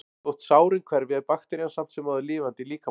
Þótt sárin hverfi er bakterían samt sem áður lifandi í líkamanum.